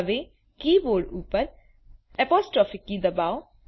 હવે કીબોર્ડ ઉપર apostrophe key દબાવો